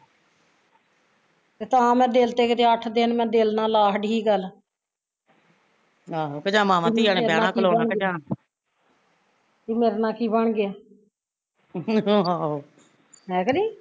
ਤਾਂ ਮੈਂ ਦਿਲ ਤੇ ਕਿਤੇ ਅੱਠ ਦਿਨ ਮੈਂ ਦਿਲ ਨਾਲ਼ ਲਾ ਛੱਡੀ ਸੀ ਗੱਲ ਵੀ ਮੇਰੇ ਨਾਲ਼ ਕੀ ਬਣ ਗਿਆ ਹੈ ਕਿ ਨਹੀਂ